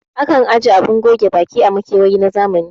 Akan aje abun goge baki a makewayi na zamani